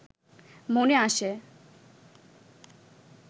মনে আসে